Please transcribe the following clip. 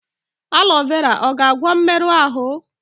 Aloe vera ọ ga-agwọ mmerụ ahụ?